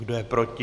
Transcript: Kdo je proti?